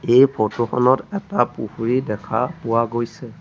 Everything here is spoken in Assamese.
এই ফটো খনত এটা পুখুৰী দেখা পোৱা গৈছে।